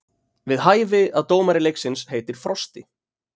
Við hæfi að dómari leiksins heitir Frosti.